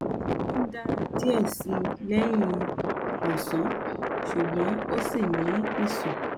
ó ń dàra diẹ̀ síi lẹ́yìn ọ̀sán ṣùgbọ́n ó ṣi ní ìsùn